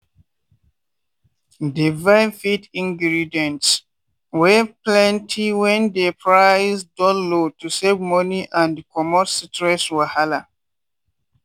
dey buy feed ingredients wey plenty when dey price don low to save money and comot stress wahala.